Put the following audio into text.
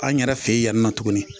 An yɛrɛ fɛ yen yani nɔ tuguni.